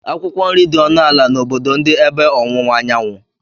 Akwụkwọ nri dị ọnụ ala n'obodo ndị ebe ọwụwa anyanwụ.